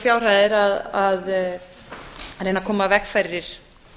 fjárhæðir að reyna að koma í veg fyrir